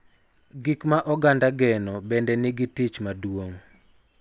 Gik ma oganda geno bende nigi tich maduong�